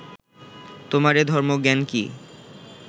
তোমার এ ধর্মজ্ঞান কি